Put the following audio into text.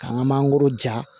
K'an ka mangoro ja